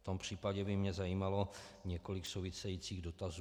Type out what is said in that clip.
V tom případě by mě zajímalo několik souvisejících dotazů.